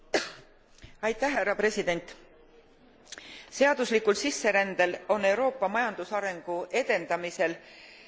Seaduslikul sisserändel on Euroopa majandusarengu edendamisel ja konkurentsivõime parandamisel kahtlemata suur roll.